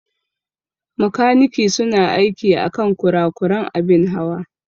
Makaniki su na aiki akan kurakuran abin Hawa.